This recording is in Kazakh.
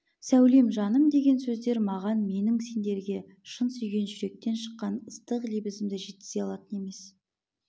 сәулем жаным деген сөздер маған менің сендерге шын сүйген жүректен шыққан ыстық лебізімді жеткізе алатын емес